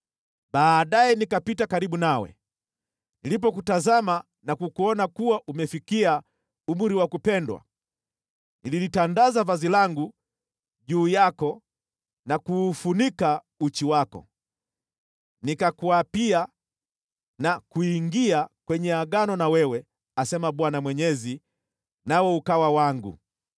“ ‘Baadaye nikapita karibu nawe, nilipokutazama na kukuona kuwa umefikia umri wa kupendwa, nililitandaza vazi langu juu yako na kuufunika uchi wako. Nikakuapia na kuingia kwenye Agano na wewe, asema Bwana Mwenyezi, nawe ukawa wangu.